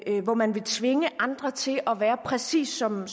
hvor man vil tvinge andre til at være præcis som en